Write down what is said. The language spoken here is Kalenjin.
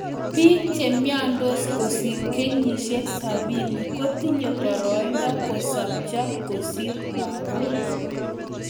Biik che myandos kosir kenyishek sapini kotinye baraido kosopcho kosir lagook